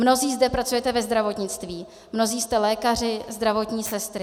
Mnozí zde pracujete ve zdravotnictví, mnozí jste lékaři, zdravotní sestry.